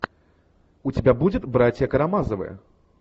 у тебя будет братья карамазовы